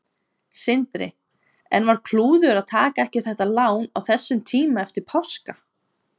Sindri: En var klúður að taka ekki þetta lán á þessum tíma eftir páska?